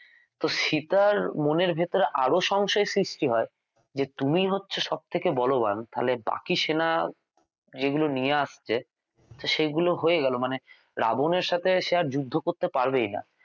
তো সীতা র মনের ভেতরে আরও সংশয় সৃষ্টি হয় যে তুমি হচ্ছো সব থেকে বলবান তাহলে বাকি সেনা যেগুলো নিয়ে আসছে সেগুলো হয়ে গেল মানে রাবন এর সাথে সে আর যুদ্ধ করতে পারবেই না